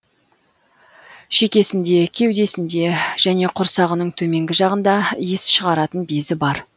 шекесінде кеудесінде және құрсағының төменгі жағында иіс шығаратын безі бар